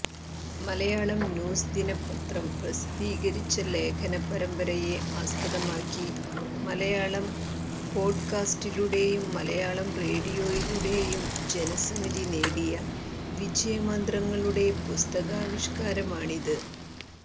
Malayalam news ദിനപത്രം പ്രസിദ്ധീകരിച്ച ലേഖന പരമ്പരയെ ആസ്പദമാക്കി മലയാളം പോഡ്കാസ്റ്റിലൂടെയും മലയാളം റേഡിയോയിലൂടെയും ജനസമ്മതി നേടിയ വിജയമന്ത്രങ്ങളുടെ പുസ്തകാവിഷ്കാരമാണിത്